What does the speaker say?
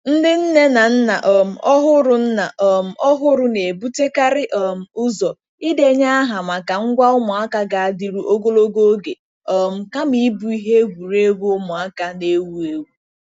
Ndị nne na nna um ọhụrụ nna um ọhụrụ na-ebutekarị um ụzọ ịdenye aha maka ngwa ụmụaka ga-adịru ogologo oge um kama ịbụ ihe egwuregwu ụmụaka na-ewu ewu.